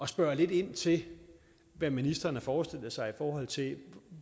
spørge lidt ind til hvad ministeren har forestillet sig i forhold til